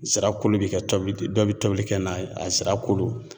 Zira kolo bɛ kɛ tobili de ,dɔw bɛ tobili kɛ n'a ye a zira kolo